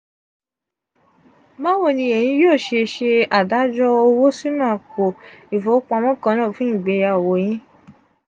bawo ni eyin yoo se se adajo owo sinu apo ifowopamo kaana fun igbeyawo yin?